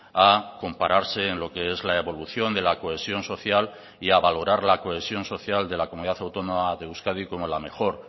a compararse en lo que es la evolución de la cohesión social y a valorar la cohesión social de la comunidad autónoma de euskadi como la mejor